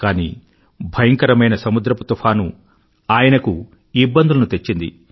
కానీ భయంకరమైన సముద్రపు తుఫాను ఆయనకు ఇబ్బందులను తెచ్చింది